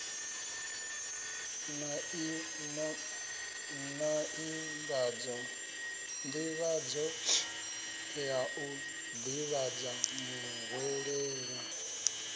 nḓivhadzo ya u ḓivhadza muhwelelwa